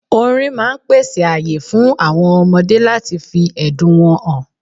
Orin máà ń pèsè ààyè fún àwọn ọmọdé láti fi ẹ̀dùn wọn hàn